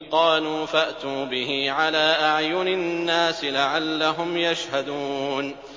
قَالُوا فَأْتُوا بِهِ عَلَىٰ أَعْيُنِ النَّاسِ لَعَلَّهُمْ يَشْهَدُونَ